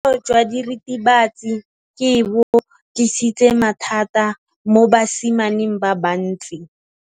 Botshelo jwa diritibatsi ke bo tlisitse mathata mo basimaneng ba bantsi.